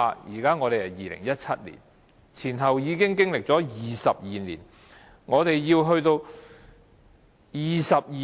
試想想，現在是2017年，前後經歷22年，我們要22